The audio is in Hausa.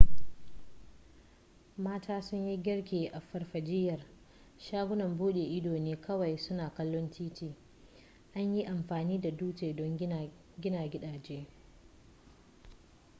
mata sun yi girki a farfajiyar shagunan buɗe ido ne kawai suna kallon titi an yi amfani da dutse don gina gidaje